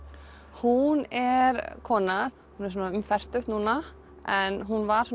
hún er kona um fertugt núna en hún var